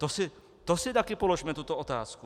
To si také položme tuto otázku.